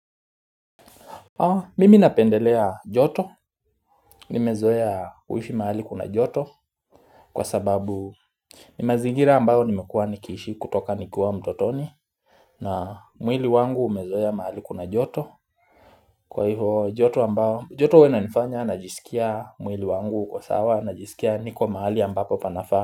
Mimi napendelea joto, nimezoea huishi mahali kuna joto kwa sababu ni mazingira ambayo nimekua nikiishi kutoka nikua mtotoni na mwili wangu umezoea mahali kuna joto kwa hivyo joto ambayo joto huwa inanifanya najisikia mwili wangu uko sawa najisikia niko mahali ambapo panafaa.